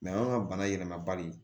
anw ka bana yɛlɛma bali